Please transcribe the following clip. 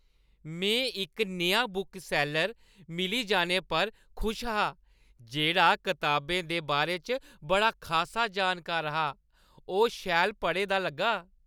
में इक नेहा बुकसैल्लर मिली जाने पर खुश हा जेह्ड़ा कताबें दे बारे च बड़ा खासा जानकार हा। ओह् शैल पढ़े दा लग्गा।